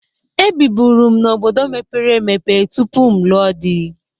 Ebibụru m n'obodo mepere emepe tupu m lụọ dị.